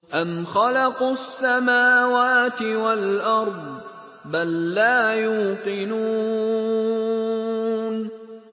أَمْ خَلَقُوا السَّمَاوَاتِ وَالْأَرْضَ ۚ بَل لَّا يُوقِنُونَ